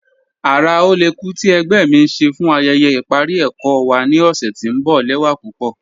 Ara ọlẹ́kù ti ẹ̀gbẹ́ mi n ṣè fún ayẹyẹ iparí ẹkọ wa ni ọṣẹ̀ tí n bọ lẹwa pupọ.